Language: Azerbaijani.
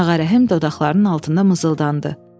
Ağarəhm dodaqlarının altından mızıldandı.